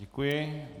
Děkuji.